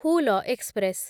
Hul express